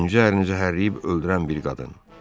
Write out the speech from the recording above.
İkinci ərini zəhərləyib öldürən bir qadın.